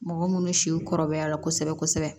Mɔgɔ minnu si kɔrɔbaya la kosɛbɛ kosɛbɛ